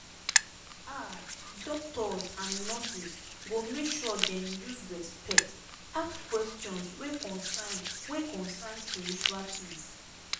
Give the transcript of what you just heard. ah doctors and nurses go make sure dem use respect ask questions wey concern wey concern spiritual tings